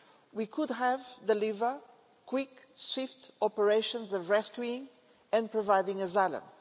We could have delivered quick, swift operations of rescuing and providing asylum.